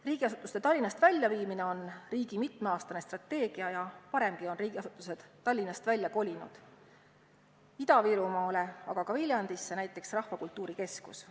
Riigiasutuste Tallinnast väljaviimine on riigi mitmeaastane strateegia ja varemgi on riigiasutused Tallinnast välja kolinud – Ida-Virumaale, aga ka Viljandisse, näiteks Rahvakultuuri Keskus.